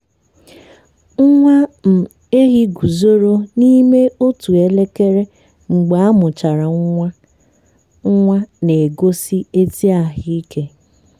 nwa um ehi guzoro n'ime otu elekere mgbe amuchara nwa nwa na-egosi ezi ahụ ike.